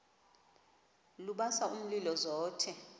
lubasa umlilo zothe